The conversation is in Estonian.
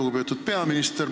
Lugupeetud peaminister!